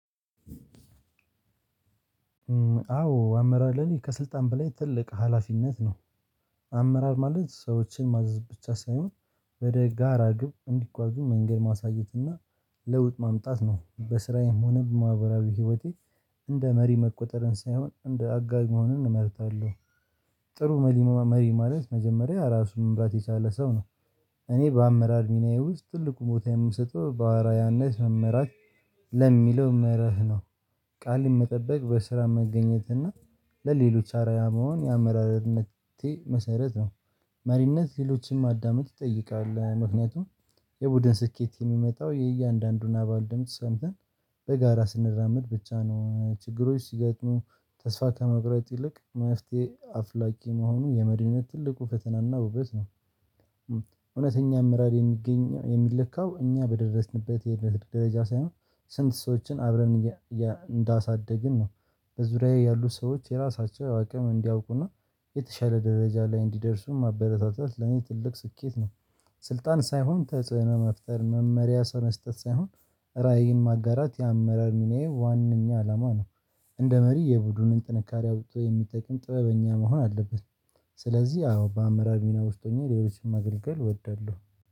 አዎ አመራር ለኔ ከስልጣን በላይ ትልቅ ሀላፊነት ነው። አመራር ማለት ሰዎችን ማዘዝ ብቻ ሳይሆን ወደ ጋራ ግብ እንዲጓዙ መንገድ ማሳየት እና ለውጥ ማምጣት ነው። በስራዬም ሆነ በማህበራዊ ህይወቴ እንደ መሪ መቆጠርን ሳይሆን እንደ አጋዥ መሆንንን እመርጣለሁ። ጥሩ መሪ ማለት መጀመሪያ ራሱን መምራት የቻለ ሰው ነው። እኔ በአመራር ሚናዬ ውስጥ ትልቁ ቦታ የምሰጠው በአርያነት መመራት ለሚለው መረህ ነው። ቃልን መጠበቅ በስራ መገኘት እና ለሌሎች አርአያ መሆን የአመራርነቴ መሰረት ነው። መሪነት ሌሎችንም ማዳመጥ ይጠይቃል ምክንያቱም የቡድን ስኬት የሚመጣው የእያንዳንዱን አባል ድምጽ ሰምተን በጋራ ስንራመድ ብቻ ነው ችግሮች ሲገጥሙ ተስፋ ከመቁረጥ ይልቅ መፍትሄ አፍላጊ መሆኑ የመዲነት ትልቁ ፈተናና ውበት ነው። እውነተኛ አመራር የሚገኘው የሚለካው እኛ በደረስንበት የነት ደረጃ ሳይሆን ስንት ሰዎችን አብረን እንዳሳደግን ነው። በዙሪያዬ ያሉ ሰዎች የራሳቸው አቅም እንዲያውቁና የተሻለ ደረጃ ላይ እንዲደርሱም ማበረታታት ለኔ ትልቅ ስኬት ነው። ስልጣን ሳይሆን ተጽዕኖ መፍጠር መመሪያ ሰው መስጠት ሳይሆን ራዕይን ማጋራት የአመራር ሚናዬ ዋናኛ አላማ ነው። እንደ መሪ የቡድኑን ጥንካሬ አውጥቶ የሚጠቅም ጥበበኛ መሆን አለብን ስለዚህ አዎ በአመራር ሚና ውስጥ ሆኜ ሌሎችንም አገልግሎት እወዳለሁ